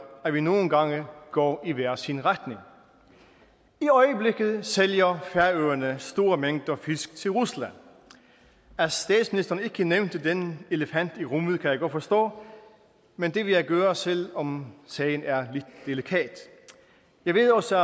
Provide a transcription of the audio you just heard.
at vi nogle gange går i hver sin retning i øjeblikket sælger færøerne store mængder fisk til rusland at statsministeren ikke nævnte den elefant i rummet kan jeg godt forstå men det vil jeg gøre selv om sagen er lidt delikat jeg ved også